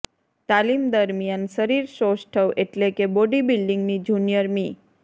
તાલીમ દરમિયાન શરીરસૌષ્ઠવ એટલે કે બોડી બીલ્ડિંગની જુનિયર મિ